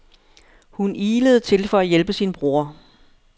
Hun ilede til for at hjælpe sin bror.